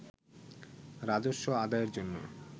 রাজস্ব আদায়ের জন্য